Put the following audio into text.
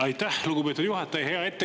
Aitäh, lugupeetud juhataja!